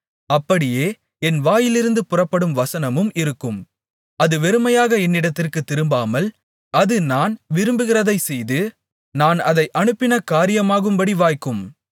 அப்படியே என் வாயிலிருந்து புறப்படும் வசனமும் இருக்கும் அது வெறுமையாக என்னிடத்திற்குத் திரும்பாமல் அது நான் விரும்புகிறதைச்செய்து நான் அதை அனுப்பின காரியமாகும்படி வாய்க்கும்